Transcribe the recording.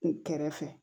U kɛrɛfɛ